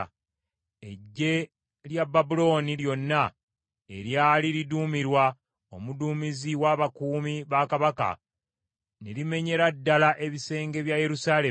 Eggye lya Babulooni lyonna eryali liduumirwa omuduumizi w’abakuumi bakabaka ne limenyera ddala ebisenge bya Yerusaalemi.